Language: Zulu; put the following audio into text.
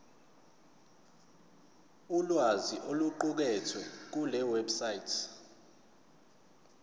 ulwazi oluqukethwe kulewebsite